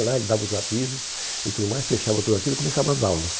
lá ele dava os avisos e tudo mais, fechava tudo aquilo e começava as aulas.